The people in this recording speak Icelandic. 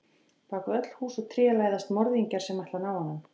Bak við öll hús og tré læðast morðingjar sem ætla að ná honum.